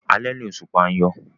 Alẹ́ ni òṣùpá ń yọ.